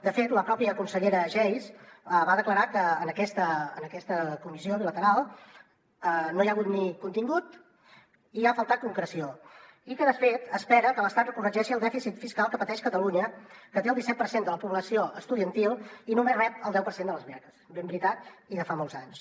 de fet la pròpia consellera geis va declarar que en aquesta comissió bilateral no hi ha hagut ni contingut i hi ha faltat concreció i que de fet espera que l’estat corregeixi el dèficit fiscal que pateix catalunya que té el disset per cent de la població estudiantil i només rep el deu per cent de les beques ben veritat i de fa molts anys